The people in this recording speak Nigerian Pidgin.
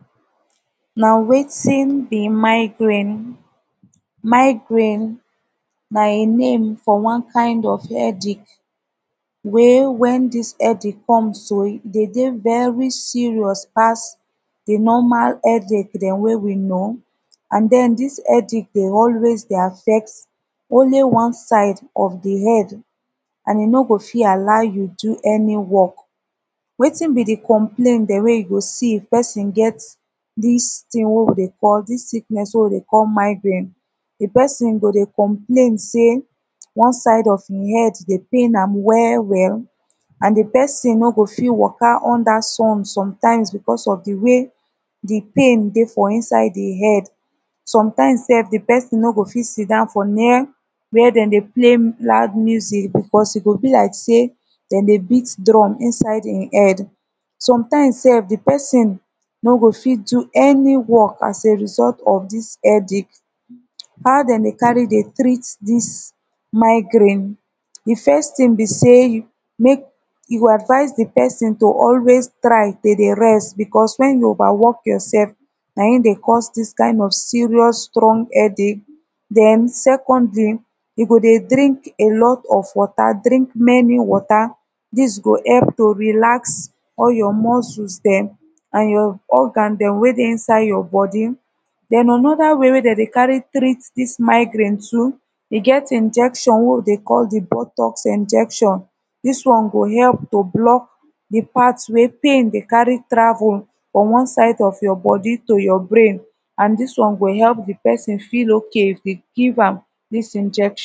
na wetin bi migrain migrain na im name fo one kin of headache wey wen dis headache cum so e de dey veri cirous pass de normal headache dem wey we know an den dis headache de always de affect onli one side of de head an e no go fit allow yu do ani work wetin bi de complain dem wey yu go see if pesin get dis tin wey wi de call dis sickness wey wi de call migrain de pesin go de complain sey one side of em head dey pain am well well an de pesin no go fit waka unda sun somtimz becuz of de way de pain dey inside de head somtimz sef de pesin no go fit sitdon fo near were dem dey play loud music bicuz e go bi like sey dem de bit drum inside e head somtimz sef de pesin no go fit do any wok as a result of dis headache how dem de cari dey treat dis migrain de first tin bi sey yu mek yu go advise de pesin to always try to de rest bicuz wen yu over wok yursef na em de cause dis dis kin of serious strong headache den secondly dem go dey drink a lot of water drink mani wata dis go help to relax all yur muscles dem an yur organ dem wey dey inside yur bodi anoda way wey dem dey cari treat dis migrain too e get injection wey wi de call de butox injection dis one go help to block de pat wey pain de cari travel from one side of yur bodi to yur brain an dis one go help de pesin feel okay if dem give am dis injection.